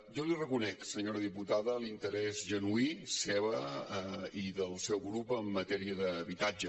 jo li reconec senyora diputada l’interès genuí seu i del seu grup en matèria d’habitatge